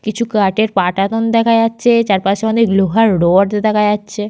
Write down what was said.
কিছু কাঠের পাটাতন দেখা যাচ্ছে। চারপাশে অনেক লোহার রড দেখা যাচ্ছে।